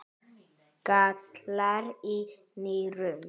gallar í nýrum